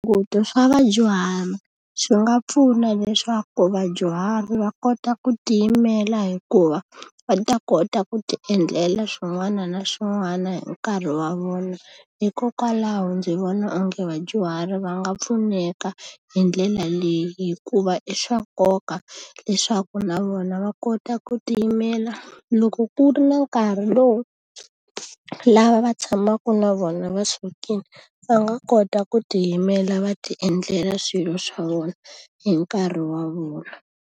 Swa vadyuhari swi nga pfuna leswaku vadyuhari va kota ku tiyimela hikuva, va ta kota ku ti endlela swin'wana na swin'wana hi nkarhi wa vona. Hikokwalaho ndzi vona onge vadyuhari va nga pfuneka hi ndlela leyi, hikuva i swa nkoka leswaku na vona va kota ku tiyimela. Loko ku ri na nkarhi lowu lava va tshamaka na vona va sukile va nga kota ku tiyimela, va ti endlela swilo swa vona hi nkarhi wa vona.